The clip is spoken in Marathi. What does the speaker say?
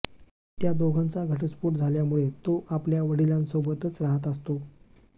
त्या दोघांचा घटस्फोट झाल्यामुळे तो आपल्या वडिलांसोबतच राहात असतो